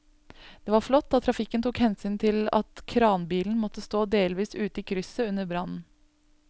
Det var flott at trafikken tok hensyn til at kranbilen måtte stå delvis ute i krysset under brannen.